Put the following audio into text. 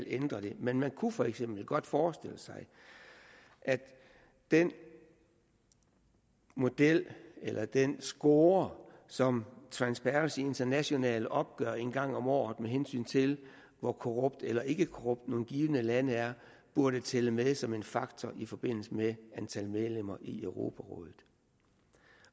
ændre det men man kunne for eksempel godt forestille sig at den model eller den score som transparency international opgør en gang om året med hensyn til hvor korrupt eller ikkekorrupt nogle givne lande er burde tælle med som en faktor i forbindelse med antal medlemmer i europarådet